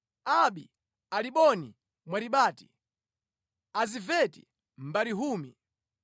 Abi-Aliboni Mwaribati, Azimaveti Mbarihumi,